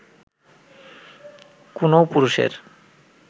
কোনও পুরুষের